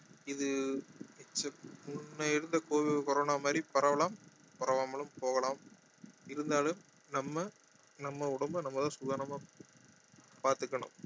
இது முன்ன இருந்த covi~ corona மாதிரி பரவலாம் பரவாமலும் போகலாம் இருந்தாலும் நம்ம நம்ம உடம்ப நம்ம தான் சூதானமா பாத்துக்கணும்